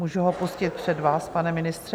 Můžu ho pustit před vás, pane ministře?